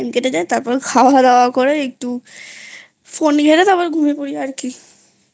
তারপর খাওয়াদাওয়া করে একটু Phoneঘেটে তারপর ঘুমিয়ে পরি আর কিI